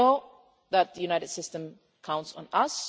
So we know that the UN system counts on us.